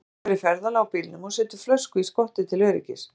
Þú ert að fara í ferðalag á bílnum og setur flösku í skottið til öryggis.